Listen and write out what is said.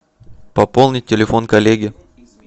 пополнить телефон коллеги